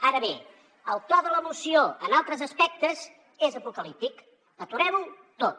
ara bé el to de la moció en altres aspectes és apocalíptic aturem ho tot